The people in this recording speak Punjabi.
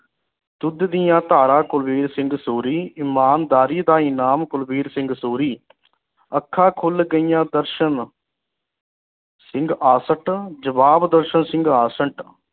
ਦੁੱਧ ਦੀਆ ਧਾਰਾ ਕੁਲਬੀਰ ਸਿੰਘ ਸੂਰੀ ਇਮਾਨਦਾਰੀ ਦਾ ਇਨਾਮ ਕੁਲਬੀਰ ਸਿੰਘ ਸੂਰੀ ਅੱਖਾਂ ਖੁਲ ਗਈਆ ਦਰਸ਼ਨ ਸਿੰਘ ਆਸੰਟ ਜਵਾਬ ਦਰਸ਼ਨ ਸਿੰਘ ਆਸੰਟ